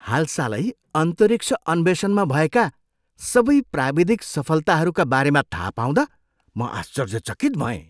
हालसालै अन्तरिक्ष अन्वेषणमा भएका सबै प्राविधिक सफलताहरूका बारेमा थाहा पाउँदा म आश्चर्यचकित भएँ।